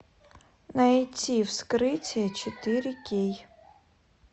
найти вскрытие четыре кей